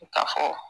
Ka fɔ